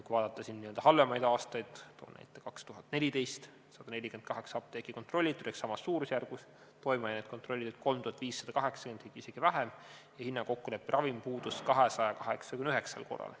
Kui vaadata n-ö halvemaid aastaid, toon näite 2014. aastast, siis kontrolliti 148 apteeki ehk samas suurusjärgus, toimeainet kontrolliti 3580, isegi vähem, ja hinnakokkulepperavim puudus 289 korral.